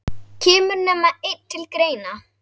Kemur nema einn til greina?